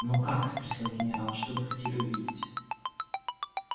ну как спросил генерал что вы хотели увидеть